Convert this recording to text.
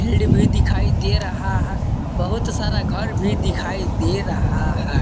भीड़ भी दिखाई दे रहा है बहुत सारा घर भी दिखाई दे रहा है।